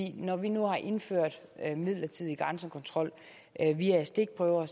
når vi nu har indført en midlertidig grænsekontrol via stikprøver